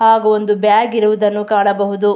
ಹಾಗು ಒಂದು ಬ್ಯಾಗ್ ಇರುವುದನ್ನು ಕಾಣಬಹುದು.